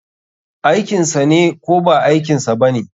Aikinsane ko ba aikinsa bane?